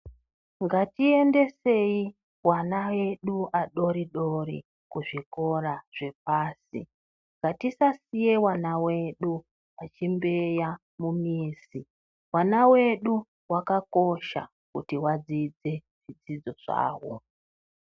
Ngatiendesei vana vedu adoridori kuzvikora zvepasi ngatisasiyei vana vedu vachimbeya mumizi vana vedu vakakosha kuti vadzidze mizvidzidzo zvavo.